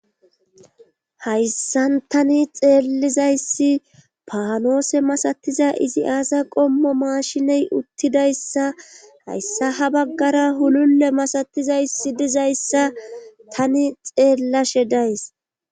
Hayssan tani xeellizayssi paanoose masatiza izi aasa qommo maashiney uttidayssa hayssa ha baggara hululle masatizayssi dizayssa tani xeellashe days.